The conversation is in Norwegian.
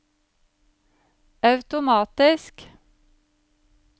automatisk